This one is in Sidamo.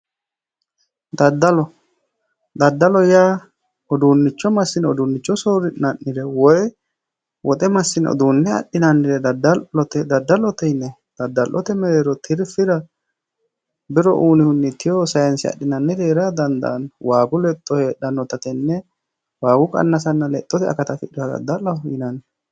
Daddalo daddaloho yaa uduunicho massine uduunicho soori'ne ha'niro woyi woxe massine uduune adhinannire dadalloho yinayi daddalu mereero bero uyinanni tewo sayisara danidaanno waagu lexxo hedhanota tenne waagu qannasanna lexxo afidhinota dadaloho yinanni